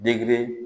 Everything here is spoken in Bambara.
Degere